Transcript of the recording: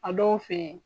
A dɔw fe yen